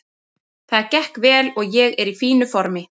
Það gekk vel og ég er í fínu formi.